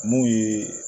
Mun ye